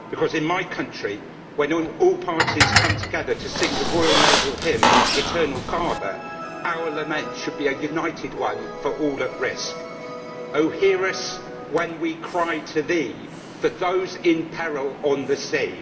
In my country, when all parties come together to sing the royal naval hymn, Eternal Father', our lament should be a united one for all at risk Oh, hear us when we cry to Thee, For those in peril on the sea!